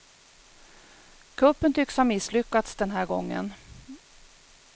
Kuppen tycks ha misslyckats den här gången.